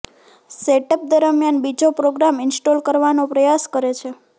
setup દરમિયાન બીજો program install કરવાનો પ્રયાસ કરે છે